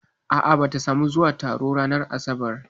A'a bata samu zuwa taron ba ranar asabar